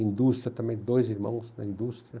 Indústria também, dois irmãos na indústria.